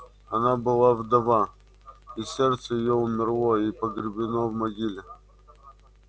она была вдова и сердце её умерло и погребено в могиле